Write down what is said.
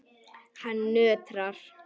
Hann nötrar.